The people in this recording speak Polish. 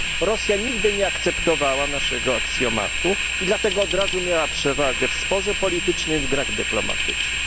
Rosja nigdy nie akceptowała naszego aksjomatu i dlatego od razu miała przewagę w sporze politycznym i w grach dyplomatycznych.